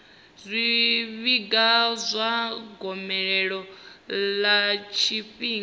zwifhinga zwa gomelelo ḽa tshifhinga